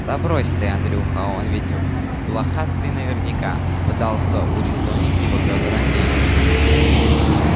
да брось ты андрюха он ведь блохастый наверняка пытался урезонить его пётр андреевич